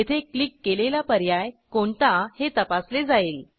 येथे क्लिक केलेला पर्याय कोणता हे तपासले जाईल